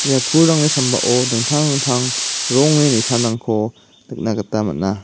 ia pulrangni sambao dingtang dingtang rongni nisanrangko nikna gita man·a.